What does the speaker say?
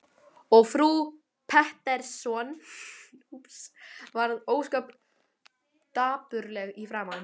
Og frú Pettersson varð ósköp dapurleg í framan.